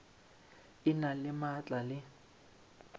e na le maatla le